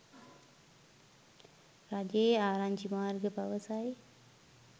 රජයේ ආරංචි මාර්ග පවසයි